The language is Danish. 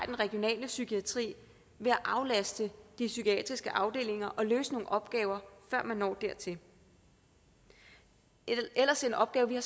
den regionale psykiatri ved at aflaste de psykiatriske afdelinger og løse nogle opgaver før man når dertil det er ellers en opgave vi har